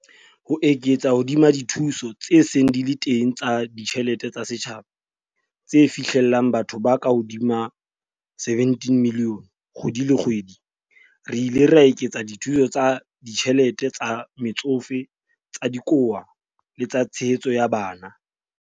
Ho eketsa hodima dithuso tse seng di le teng tsa ditjhe lete tsa setjhaba, tse fihlellang bathong ba kahodimo ho 17 milione kgwedi le kgwedi, re ile ra eketsa dithuso tsa ditjhelete tsa Metsofe, tsa Dikowa le tsa Tshehetso ya Bana.